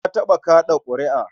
Na taɓa kaɗa ƙuri'a.